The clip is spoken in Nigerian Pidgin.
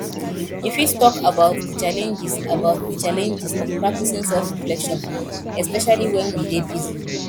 you fit talk about di challenges about di challenges of practicing selfreflection especially when we dey busy